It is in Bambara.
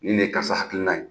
Nin de ye karisa hakilina ye.